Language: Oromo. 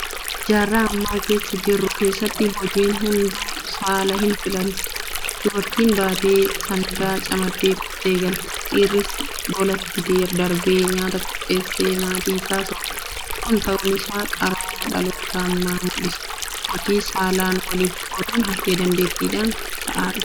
Jaarraa amma keessa jirru keessatti hojiin hunduu saala hinfilantu. Dubartiin baatee sangaa camaddee qottee galti. Dhiirris golatti darbee nyaata qopheessee maatii isaa soora. Kun ta'uun isaa qarooma dhaloota ammaa mul'isa. Hojii saalaan waliif qooduun hafee dandeettiidhaan ta'aa dhufeera. Kana cimsuudhaaf maaltu ta'uu qaba?